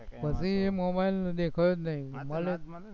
પછી ઈ મોબાઇલ દીઠ્યો જ નઈ, મળ્યો જ નઈ